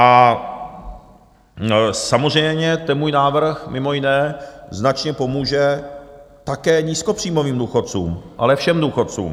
A samozřejmě ten můj návrh mimo jiné značně pomůže také nízkopříjmovým důchodcům, ale všem důchodcům.